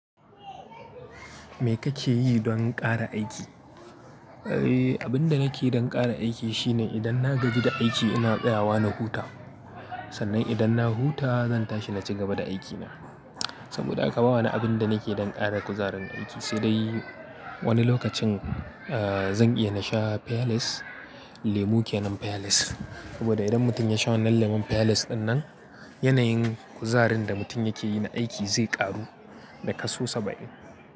Me kake yi don ƙara aiki? Eh, abin da nake don ƙara aiki shine idan na gaji da aiki ina tsayawa na huta. Sannan idan na huta zan tashi na ci gaba da aikina. Saboda haka ba wa ni abin da nake don ƙara kuzarin aiki, sai dai wani lokacin, eh, zan iya na sha Feales, lemu ke nan Feales. Saboda idan mutum ya sha wannan lemon Fales dinnan yanayin kuzarin da mutum yake yi na aiki zai ƙaru da kaso saba'in.